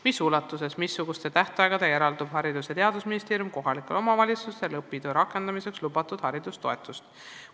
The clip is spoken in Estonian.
Mis ulatuses, missuguste tähtaegadega eraldab Haridus- ja Teadusministeerium kohalikele omavalitsustele õpitoe rakendamiseks lubatud haridustoetust?